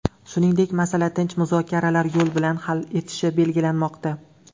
Shuningdek, masala tinch muzokaralar yo‘li bilan hal etilishi belgilanmoqda.